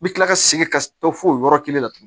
N bɛ tila ka segin ka to fo yɔrɔ kelen la tugun